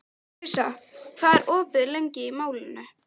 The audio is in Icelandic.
Krissa, hvað er opið lengi í Málinu?